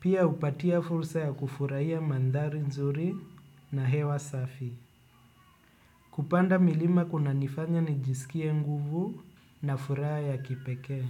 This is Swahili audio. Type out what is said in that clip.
Pia hupatia fursa ya kufuraiya mandhari nzuri na hewa safi. Kupanda milima kuna nifanya nijisikie nguvu na furaha ya kipekee.